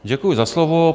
Děkuji za slovo.